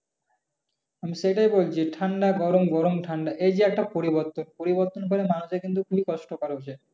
সেটাই বলছি ঠান্ডা গরম গরম ঠান্ডা এই যে একটা পরিবর্তন। পরিবর্তনের ফলে মানুষের কিন্তু খুব কষ্ট বাড়ছে।